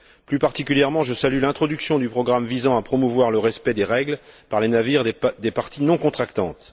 plus particulièrement, je salue l'introduction du programme visant à promouvoir le respect des règles par les navires des parties non contractantes.